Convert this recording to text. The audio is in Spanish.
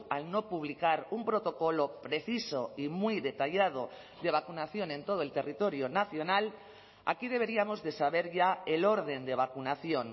al no publicar un protocolo preciso y muy detallado de vacunación en todo el territorio nacional aquí deberíamos de saber ya el orden de vacunación